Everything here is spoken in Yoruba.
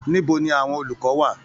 Níbo ní àwọn olùkọ wà?